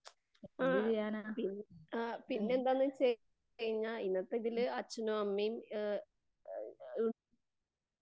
ആ പി പിന്നെന്താന്നുവെച്ചു കഴിഞ്ഞാൽ ഇന്നത്തെ ഇതില് അച്ഛനും അമ്മയും അഹ്